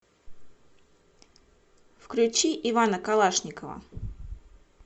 включи ивана калашникова